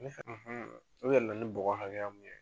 u yɛlɛla ni bɔgɔ hakɛya min ye.